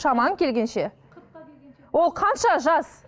шамаң келгенше ол қанша жас